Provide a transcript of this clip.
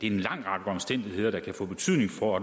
en lang række omstændigheder der kan få betydning for